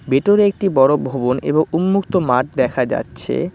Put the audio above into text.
ভেতরে একটি বড় ভবন এবং উন্মুক্ত মাঠ দেখা যাচ্ছে।